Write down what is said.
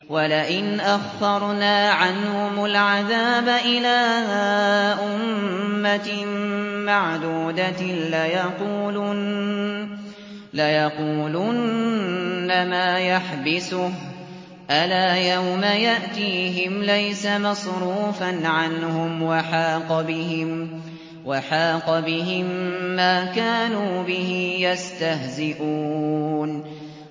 وَلَئِنْ أَخَّرْنَا عَنْهُمُ الْعَذَابَ إِلَىٰ أُمَّةٍ مَّعْدُودَةٍ لَّيَقُولُنَّ مَا يَحْبِسُهُ ۗ أَلَا يَوْمَ يَأْتِيهِمْ لَيْسَ مَصْرُوفًا عَنْهُمْ وَحَاقَ بِهِم مَّا كَانُوا بِهِ يَسْتَهْزِئُونَ